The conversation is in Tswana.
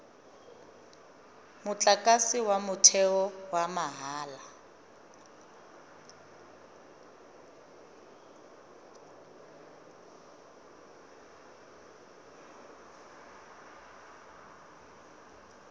motlakase wa motheo wa mahala